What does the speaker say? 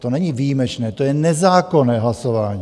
To není výjimečné, to je nezákonné hlasování.